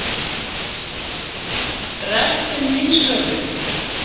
Rætt um nýsköpun